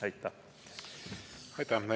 Aitäh!